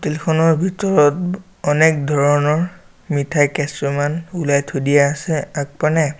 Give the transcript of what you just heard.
Hotel খনৰ ভিতৰত অনেক ধৰণৰ মিঠাই কেছুমান ওলাই থৈ দিয়া আছে আগপানে ।